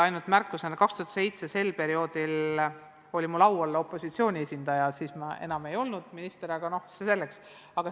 Ainult märkusena lisan, et 2007 oli mul au olla opositsiooni esindaja ja minister ma siis enam ei olnud, aga see selleks.